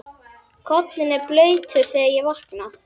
Koddinn er blautur þegar ég vakna.